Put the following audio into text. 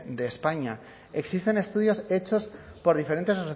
de españa existen estudios hechos por diferentes